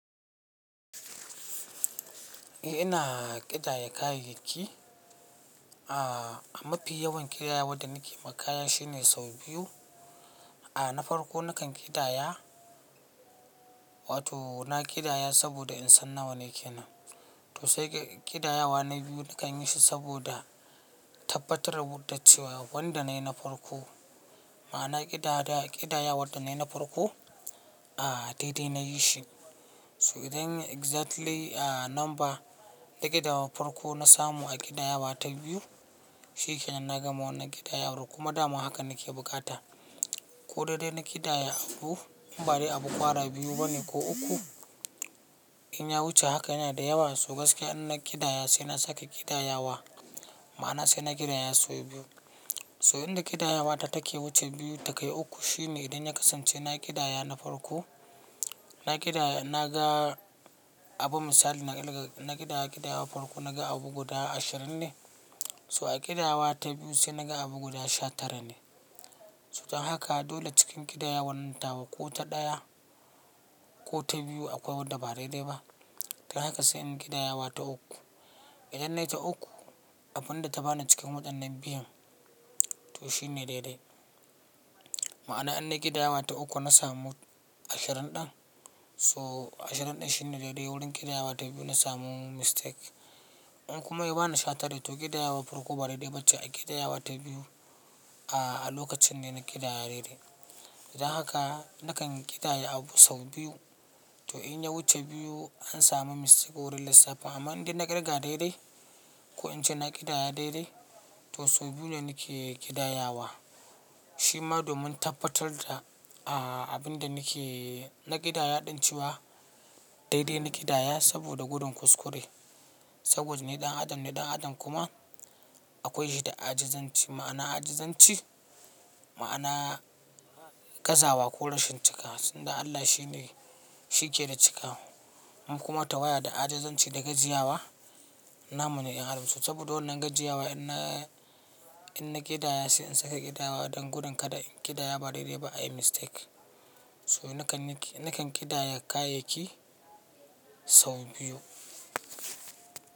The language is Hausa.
Eh ina ƙidaya kayayyaki, a mafi yawan ƙidayawa da nake ma kaya shine sau biyu. A na farko nakan ƙidaya, wato na ƙidaya saboda in san nawa ne kenan. To sai ƙidayawa na biyu nakan yi shi saboda tabbatarwa da cewa wanda na yi na farko, ma'ana ƙidaya ƙidayawar da na yi na farko, a daidai na yi shi. So idan exactly a number da ƙidaya na farko na samu a ƙidayawa ta biyu, shi kenan na gama wannan ƙidaya kuma dama haka nake bukata. Ko dai dai na ƙidaya ko in ba dai abu kwara biyu bane ko uku, in ya wuce haka yana da yawa. So gaskiya in na ƙidaya sai na sake ƙidayawa ma'ana sai na ƙidaya sau biyu. So in da ƙidayawa ta take wuce biyu ta kai uku shine idan ya kasance na ƙidaya na farko, na ƙidaya na ga abu misali na ƙidaya ƙidayawar farko na ga abu guda ashirin ne. So a ƙidaya ta biyu sai na ga abu guda sha tara ne. So dan haka dole cikin ƙidayawan tawa ko ta ɗaya ko ta biyu akwai wadda ba dai ba. Kai haka sai in ƙidaya ta uku. Idan na yi ta uku abin da ta bani cikin waɗannan biyun to shi ne daidai. Ma'ana in na ƙidaya ta uku na samu ashirin ɗin so ashirin ɗin shine daidai wurin ƙidayawa ta biyu na samu mistake. In kuma ya bani sha tara to ƙidayawa farko ba daidai ba ce a ƙidayawa ta biyu a lokacin da na ƙidaya daidai. Dan haka nakan ƙidaya abu sau biyu. To in ya wuce biyu an samu mistake wurin lissafin amma in dai na kirga daidai ko in ce na ƙidaya daidai to sau biyu ne nake ƙidayawa. Shi ma domin tabbatar da a abin da nake na ƙidaya ɗan ciwa daidai na ƙidaya saboda gudun kuskure. Saboda ne ɗan adam ne ɗan adam kuma akwai shi da ajizanci ma'ana ajizanci ma'ana gazawa ko rashin cika sanda Allah shi ne shi ke da cika. In kuma tawaya da ajizanci da gajiyawa namune dan adam. So saboda wannan gajiyawa in na in na ƙidaya sai in sake ƙidayawa don gudun kada in ƙidaya ba daidai ba ayi mistake. So nakan nakan ƙidaya kayayyaki sau biyu.